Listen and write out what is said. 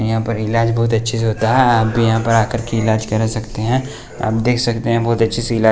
यहाँ पर इलाज बहुत अच्छे से होता है आप भी यहाँ पर आकर के इलाज करा सकते है आप देख सकते है बहुत अच्छे से इलाज --